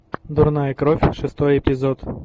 дурная кровь шестой эпизод